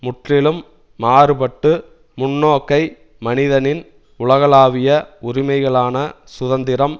முற்றிலும் மாறுபட்டு முன்னோக்கை மனிதனின் உலகளாவிய உரிமைகளான சுதந்திரம்